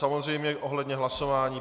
Samozřejmě, ohledně hlasování.